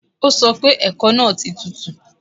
O sọ pé ẹ̀kọ náà ti tutù